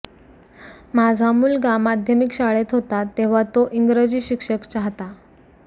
माझा मुलगा माध्यमिक शाळेत होता तेव्हा तो इंग्रजी शिक्षक चाहता